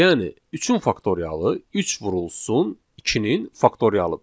Yəni üçün faktorialı 3 vurulsun 2-nin faktorialıdır.